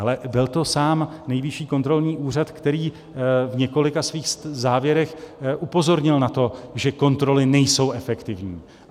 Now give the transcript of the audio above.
Ale byl to sám Nejvyšší kontrolní úřad, který v několika svých závěrech upozornil na to, že kontroly nejsou efektivní.